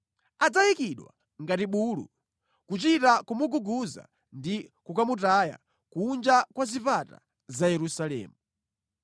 Adzayikidwa ngati bulu, kuchita kumuguguza ndi kukamutaya kunja kwa zipata za Yerusalemu.”